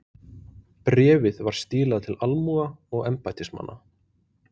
Bréfið var stílað til almúga og embættismanna.